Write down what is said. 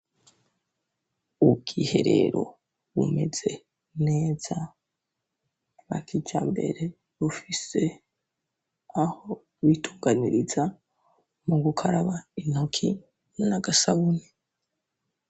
Ubwiherero bumeze neza bwa kijambere bufise aho bitunganiriza mu gukaraba intoki n'agasabuni.